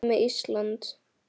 En hvað með Ísland?